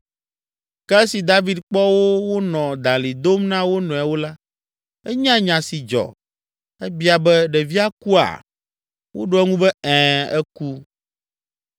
Ke esi David kpɔ wo wonɔ dalĩ dom na wo nɔewo la, enya nya si dzɔ. Ebia be, “Ɖevia kua?” Woɖo eŋu be, “Ɛ̃, eku.”